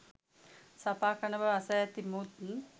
සපා කන බව අසා ඇති මුත්